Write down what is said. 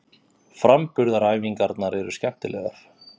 Framburðaræfingarnar eru skemmtilegar.